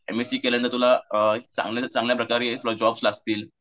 M S C केल्याने तुला अ चांगले चांगल्याप्रकारे तूला जॉब लागतील.